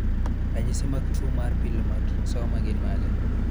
Ranyisi mag tuwo mar Pilomatrixoma gin mage?